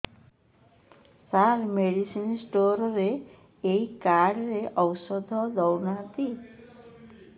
ସାର medicine store ରେ ଏଇ card ରେ ଔଷଧ ଦଉନାହାନ୍ତି